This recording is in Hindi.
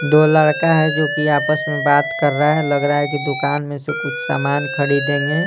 दो लड़का है जो कि आपस में बात कर रहा है लग रहा है कि दुकान में से कुछ समान खरीदेंगे।